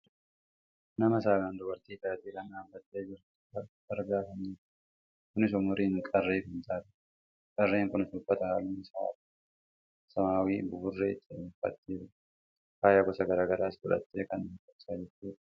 nama saalaan tobartii taate kan dhaabbattee jirtu argaa kan jirrudha. kunis umuriin qarree kan taatedha. qarreen kunis uffata halluun isaa adii fi samaawwii buburree ta'e uffattee faaya gosa gara garaas godhattee kan dhaabbachaa jirtudha.